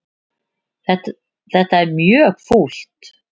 Þetta er mjög fúlt.